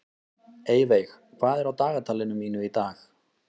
Eyveig, hvað er á dagatalinu mínu í dag?